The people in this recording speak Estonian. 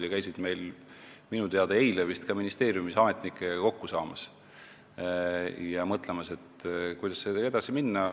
Nad käisid minu teada eile ka ministeeriumis ametnikega kokku saamas ja mõtlemas, kuidas edasi minna.